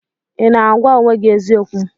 Ị na-agwa onwe gị eziokwu?